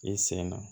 I sen na